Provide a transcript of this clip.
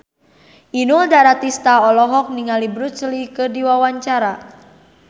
Inul Daratista olohok ningali Bruce Lee keur diwawancara